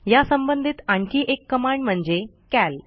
ह्या संबंधीत आणखी एक कमांड म्हणजे कॅल